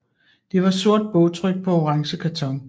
Det var sort bogtryk på orange karton